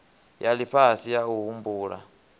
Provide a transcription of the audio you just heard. ya lifhasi ya u humbula